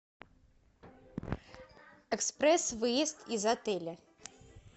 экспресс выезд из отеля